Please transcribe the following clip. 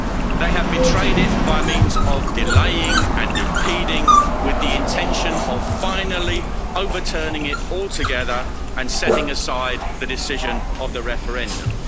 They have betrayed it by means of delaying and impeding, with the intention of finally overturning it altogether and setting aside the decision of the referendum.